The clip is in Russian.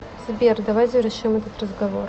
сбер давай завершим этот разговор